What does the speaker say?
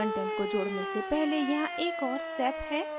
content को जोडने से पहले यहाँ एक और step है